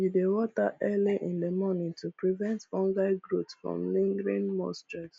we dey water early in the morning to prevent fungal growth from lingering moisture